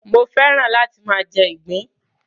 Mo fẹ́ràn láti máa jẹ ìgbín.